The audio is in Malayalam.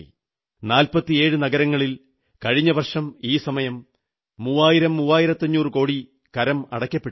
47 നഗരങ്ങളിൽ കഴിഞ്ഞ വർഷം ഈ സമയം മൂവായിരം മൂവായിരത്തഞ്ഞൂറു കോടി കരമടയ്ക്കപ്പെട്ടിരുന്നു